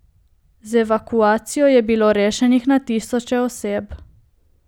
Z evakuacijo je bilo rešenih na tisoče oseb.